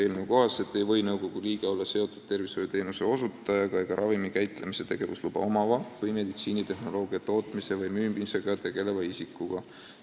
Eelnõu kohaselt ei või nõukogu liige olla seotud tervishoiuteenuse osutajaga ega ravimikäitlemise tegevusluba omava või meditsiinitehnoloogia tootmise või müümisega tegeleva isikuga.